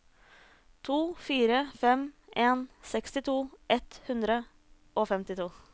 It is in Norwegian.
to fire fem en sekstito ett hundre og femtito